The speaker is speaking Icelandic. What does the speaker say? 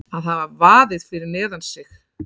Að hafa vaðið fyrir neðan sig